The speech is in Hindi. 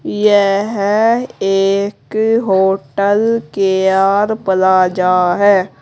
यह एक होटल के आर पलाजा है।